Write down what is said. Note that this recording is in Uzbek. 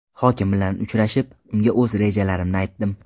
Hokim bilan uchrashib, unga o‘z rejalarimni aytdim.